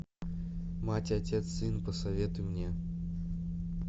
мать отец сын посоветуй мне